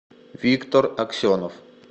виктор аксенов